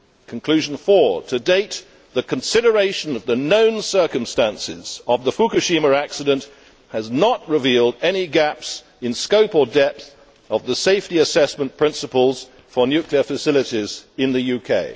Conclusion four reads to date, the consideration of the known circumstances of the Fukushima accident has not revealed any gaps in scope or depth of the safety assessment principles for nuclear facilities in the UK'.